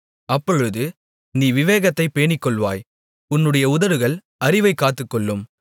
அப்பொழுது நீ விவேகத்தைப் பேணிக்கொள்வாய் உன்னுடைய உதடுகள் அறிவைக் காத்துக்கொள்ளும்